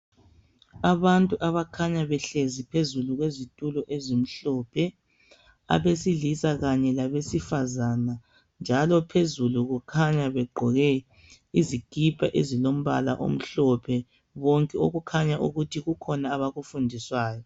Abantu abakhanya behlezi phezulu kwezithulo ezimhlophe. Abesilisa kanye labesifazana, njalo phezulu bekhanya begqoke izikhipha ezilombala omhlophe, bonke, okukhana ukuthi kukhona abakufundiswayo.